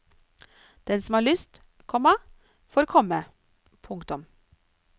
Den som har lyst, komma får komme. punktum